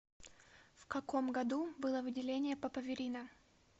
в каком году было выделение папаверина